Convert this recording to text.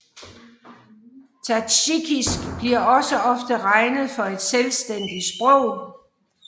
Tadsjikisk bliver også ofte regnet for et selvstændigt sprog